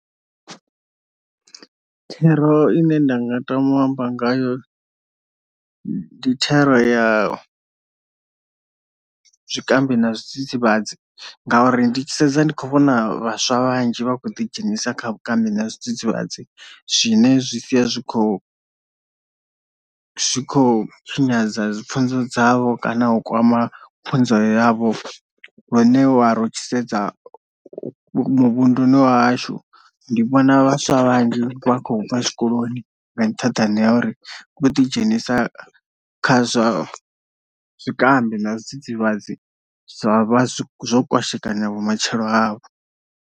Thero ine nda nga tama u amba ngayo ndi thero ya zwikambi na zwidzidzivhadzi, ngauri ndi tshi sedza ndi kho vhona vhaswa vhanzhi vha khou ḓi dzhenisa kha vhukambi na zwidzidzivhadzi zwine zwi sia zwi khou zwi kho tshinyadza dzi pfhunzo dzavho kana u kwama pfhunzo yavho lune wa ri u tshi sedza muvhunduni wa hashu ndi vhona vhaswa vhanzhi vha khou bva zwikoloni nga nṱhaḓani ha uri vho ḓi dzhenisa kha zwa zwikambi na zwidzidzivhadzi zwa vha zwo kwashekanya vhumatshelo havho.